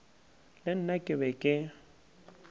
le nna ke be ke